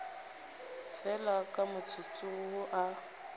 fela ka motsotso wo a